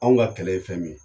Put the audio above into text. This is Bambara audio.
Anw ka kɛlɛ ye fɛn min ye.